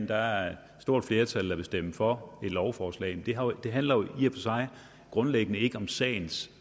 der er et stort flertal der vil stemme for lovforslaget det handler jo i og sig grundlæggende ikke om sagens